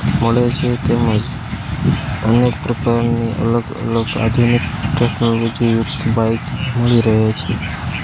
મળે છે તેમજ અનેક પ્રકારની અલગ અલગ આધુનિક ટેકનોલોજી યુક્ત બાઈક મળી રહી છે.